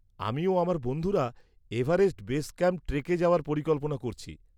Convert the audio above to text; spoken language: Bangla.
আমি ও আমার বন্ধুরা এভারেস্ট বেস ক্যাম্প ট্রেকে যাওয়ার পরিকল্পনা করছি।